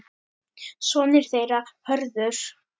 Sonur þeirra Hörður.